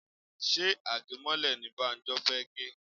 Ṣé age mọ́lẹ̀ ní Banjo fẹ gè?